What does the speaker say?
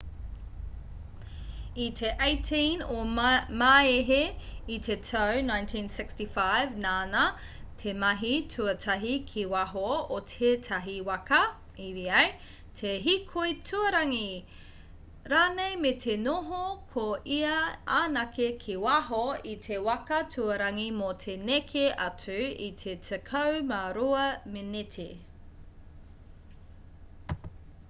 i te 18 o māehe i te tau 1965 nāna te mahi tuatahi ki waho o tētahi waka eva te hīkoi tuarangi rānei me te noho ko ia anake ki waho i te waka tuarangi mō te neke atu i te tekau mā rua meneti